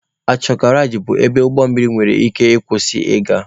Ankọreji bụ ebe ụgbọ mmiri nwere ike ị kwụsị ị ga.